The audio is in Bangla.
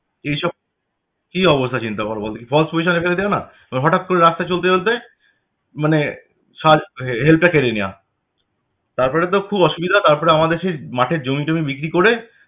এই সব কি অবস্থা চিন্তা করবো বল দেখি। false position এ ফেলে দেওয়া না? এবার হঠাৎ করে রাস্তায় চলতে চলতে মানে সাথ~ এ~ help টা কেড়ে নেওয়া। তারপরে তো খুব অসুবিধা তারপরে আমাদের সেই মাঠের জমি টমি বিক্রি করে